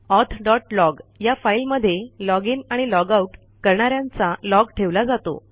auth log या फाईलमध्ये log in आणि लॉग आउट करणा यांचा लॉग ठेवला जातो